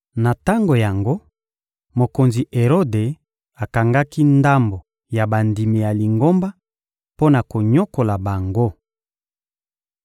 Na tango yango, mokonzi Erode akangaki ndambo ya bandimi ya Lingomba mpo na konyokola bango.